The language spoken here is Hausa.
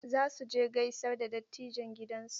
Za su je gaisar da dattijan gidansu.